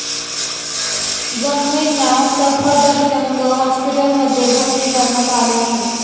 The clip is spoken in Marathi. जखमींना सफदरजंग हॉस्पिटलमध्ये भर्ती करण्यात आले आहे.